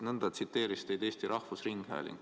Nõnda tsiteeris teid Eesti Rahvusringhääling.